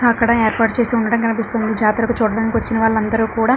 అక్కడ ఏర్పాటు చేసి ఉండడం కనిపిస్తుంది జాతరకు చూడ్డానికి వచ్చిన వాళ్ళందరూ కూడా --